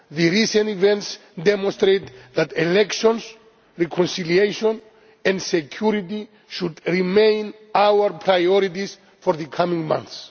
recent events demonstrate that elections, reconciliation and security should remain our priorities for the coming months.